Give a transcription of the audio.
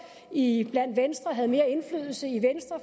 i venstre havde mere indflydelse i venstre